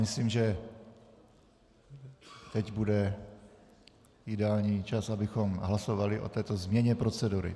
Myslím, že teď bude ideální čas, abychom hlasovali o této změně procedury.